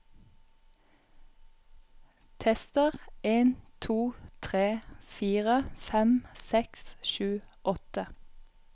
Tester en to tre fire fem seks sju åtte